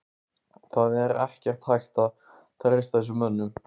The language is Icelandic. Það er ekkert hægt að treysta þessum mönnum.